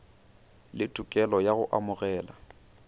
le tokelo ya go amogela